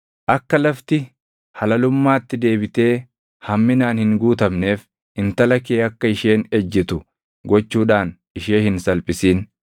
“ ‘Akka lafti halalummaatti deebitee hamminaan hin guutamneef intala kee akka isheen ejjitu gochuudhaan ishee hin salphisin.